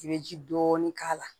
I bɛ ji dɔɔni k' a la